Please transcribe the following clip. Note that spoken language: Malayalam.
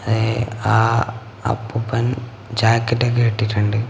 ഏഹ് ആ അപ്പൂപ്പൻ ജാക്കറ്റ് കേട്ടീട്ട് ഇണ്ട്.